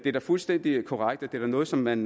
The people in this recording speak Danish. er da fuldstændig korrekt at det er noget som man